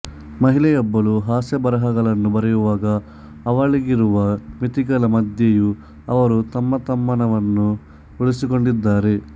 ಮಹಿಳೆಯೊಬ್ಬಳು ಹಾಸ್ಯಬರಹಗಳನ್ನು ಬರಯುವಾಗ ಅವಲಳಿಗಿರುವ ಮಿತಿಗಳ ಮಧ್ಯೆಯು ಅವರ ತಮ್ಮತನವನ್ನು ಉಳಿಸಿಕೊಂಡಿದ್ದಾರೆ